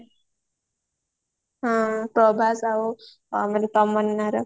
ହଁ ପ୍ରଭାସ ଆଉ ମାନେ ତମ୍ନନାର